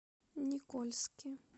никольске